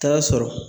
Taa sɔrɔ